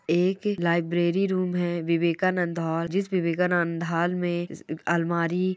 एक library room है विवेकानंद। जिस विवेकानंद में अलमारी--